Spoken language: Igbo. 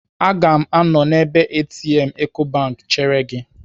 Aga m anọ n'ebe ATM Ecobank chere gị.